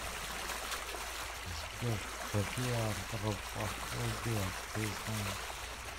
сбер какие антропофобия ты знаешь